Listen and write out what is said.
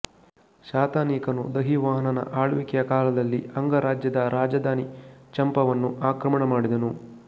ಶತಾನೀಕನು ದಧಿವಾಹನನ ಆಳ್ವಿಕೆಯ ಕಾಲದಲ್ಲಿ ಅಂಗ ರಾಜ್ಯದ ರಾಜಧಾನಿ ಚಂಪಾವನ್ನು ಆಕ್ರಮಣಮಾಡಿದನು